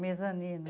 Mesanino.